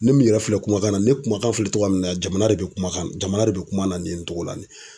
Ne min yɛrɛ filɛ kumakan na ne kumakan fɔ cogo min na jamana de bɛ kumakan jamana de bɛ kuma na nin cogo la nin.